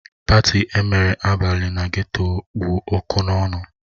Patị emere abalị na geto kpụ ọkụ n'ọnụ